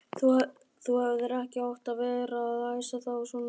Þú hefðir ekki átt að vera að æsa þá svona upp!